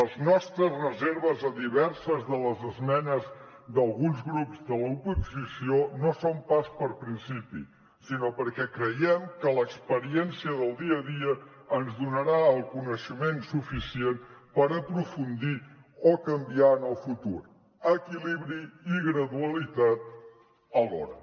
les nostres reserves a diverses de les esmenes d’alguns grups de l’oposició no són pas per principi sinó perquè creiem que l’experiència del dia a dia ens donarà el coneixement suficient per aprofundir o canviar en el futur equilibri i gradualitat alhora